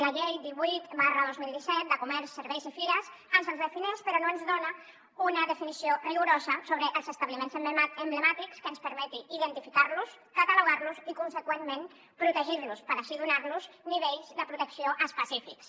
la llei divuit dos mil disset de comerç serveis i fires ens els defineix però no ens dona una definició rigorosa sobre els establiments emblemàtics que ens permeti identificar los catalogar los i conseqüentment protegir los per així donar los nivells de protecció específics